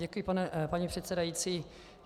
Děkuji, paní předsedající.